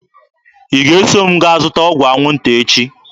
Ị ga-eso m gaa zụta ọgwụ anwụnta echi!